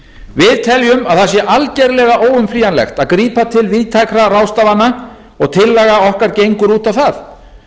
við teljum að það sé algerlega óumflýjanlegt að grípa til víðtækra ráðstafana og tillaga okkar gengur út á það